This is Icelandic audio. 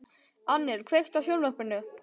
Annel, kveiktu á sjónvarpinu.